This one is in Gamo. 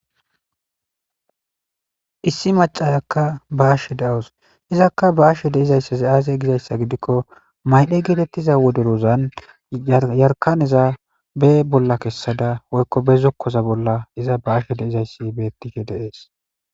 issi macayakka ba7ashe da7os izakka ba7ashe de7izayssazi aasye gizayssa gidikko maydhe geetettiza woderozan jarkaneza be bolla kessada woykko be zokkoza bolla iza ba7ashe de7izayssi beettishe de7ees.